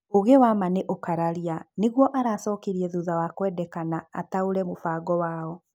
Ũũgĩ wa ma nĩ ũkararia, nĩguo aracokirie thutha wa kwendekana ataũre mũbango wao.